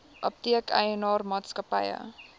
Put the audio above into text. apteek eienaar maatskappy